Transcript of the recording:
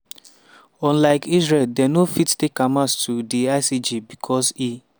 unlike israel dem no fit take hamas to di icj becos e